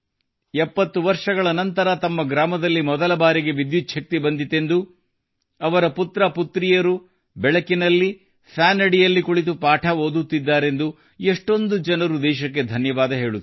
70 ವರ್ಷಗಳ ನಂತರ ತಮ್ಮ ಗ್ರಾಮದಲ್ಲಿ ಮೊದಲ ಬಾರಿಗೆ ವಿದ್ಯುಚ್ಛಕ್ತಿ ಬಂದಿತೆಂದು ಅವರ ಪುತ್ರಪುತ್ರಿಯರು ಬೆಳಕಿನಲ್ಲಿ ಫ್ಯಾನ್ ಅಡಿಯಲ್ಲಿ ಕುಳಿತು ಪಾಠ ಓದುತ್ತಿದ್ದಾರೆಂದು ಎಷ್ಟೊಂದು ಜನರು ದೇಶಕ್ಕೆ ಧನ್ಯವಾದ ಹೇಳುತ್ತಾರೆ